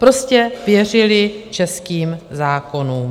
Prostě věřili českým zákonům.